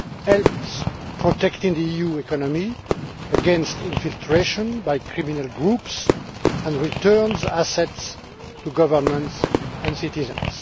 helps protect the EU economy against infiltration by criminal groups and returns assets to governments and citizens.